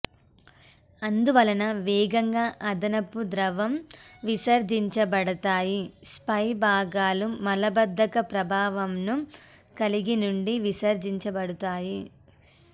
అందువలన వేగంగా అదనపు ద్రవం విసర్జించబడతాయి స్ప్రే భాగాలు మలబద్ధక ప్రభావంను కలిగి నుండి విసర్జించబడతాయి